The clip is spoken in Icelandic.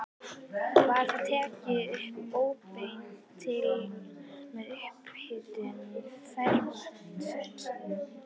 Var þá tekin upp óbein hitun með upphituðu ferskvatni.